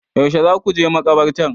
Yaushe za ku je makabartar?